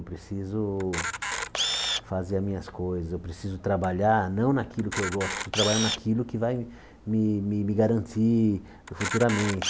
Eu preciso fazer as minhas coisas, eu preciso trabalhar não naquilo que eu gosto, eu preciso trabalhar naquilo que vai me me garantir futuramente.